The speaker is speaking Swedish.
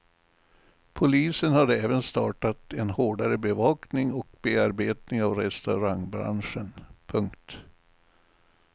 Polisen har även startat en hårdare bevakning och bearbetning av restaurangbranschen. punkt